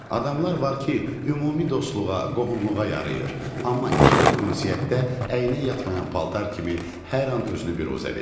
Adamlar var ki, ümumi dostluğa, qohumluğa yarayır, amma ikilik ünsiyyətdə əyninə yatmayan paltar kimi hər an özünü biruzə verir.